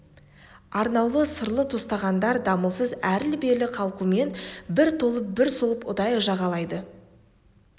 арнаулы сырлы тостағандар дамылсыз әрлі-берлі қалқумен бір толып бір солып ұдайы жағалайды